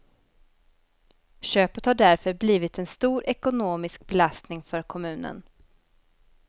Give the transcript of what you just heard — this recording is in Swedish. Köpet har därför blivit en stor ekonomisk belastning för kommunen.